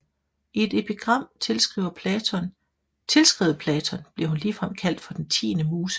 I et epigram tilskrevet Platon bliver hun ligefrem kaldt for den tiende muse